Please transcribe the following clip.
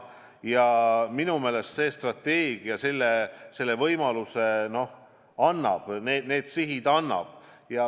Ja minu meelest see strateegia selle võimaluse annab, need sihid seab.